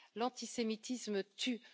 L'antisémitisme tue.